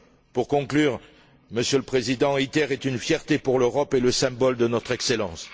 Pour conclure, Monsieur le Président, ITER est une fierté pour l'Europe et le symbole de notre excellence.